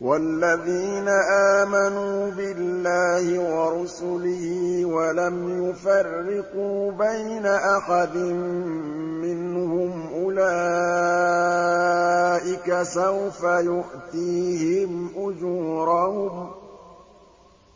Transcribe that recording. وَالَّذِينَ آمَنُوا بِاللَّهِ وَرُسُلِهِ وَلَمْ يُفَرِّقُوا بَيْنَ أَحَدٍ مِّنْهُمْ أُولَٰئِكَ سَوْفَ يُؤْتِيهِمْ أُجُورَهُمْ ۗ